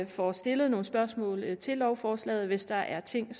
får stillet nogle spørgsmål til lovforslaget hvis der er ting